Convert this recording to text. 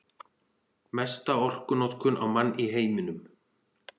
Mesta orkunotkun á mann í heiminum